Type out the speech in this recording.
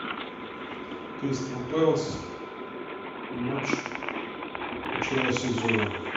кристал пэлас матч начала сезона